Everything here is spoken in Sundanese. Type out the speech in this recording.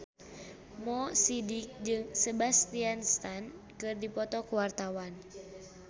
Mo Sidik jeung Sebastian Stan keur dipoto ku wartawan